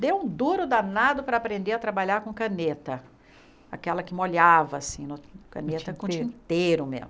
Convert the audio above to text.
Deu um duro danado para aprender a trabalhar com caneta, aquela que molhava assim, caneta com tinteiro mesmo.